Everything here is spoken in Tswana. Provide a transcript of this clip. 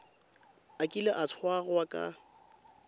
a kile a tshwarwa ka